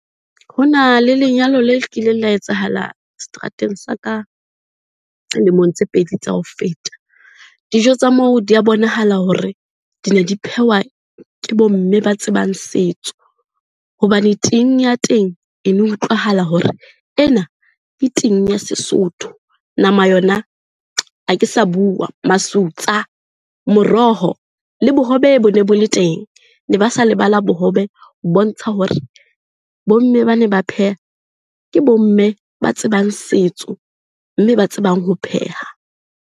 Ho na le lenyalo le kileng la etsahala seterateng sa ka lemong tse pedi tsa ho feta. Dijo tsa moo di a bonahala hore di ne di phehwa ke bo mme ba tsebang setso hobane ting ya teng ene utlwahala hore ena ke ting ya sesotho. Nama yona, ha ke sa bua masutsa. Moroho le bohobe bone bo le teng, ne ba sa lebala bohobe ho bontsha hore bomme ba ne ba pheha, ke bomme ba tsebang setso mme ba tsebang ho pheha.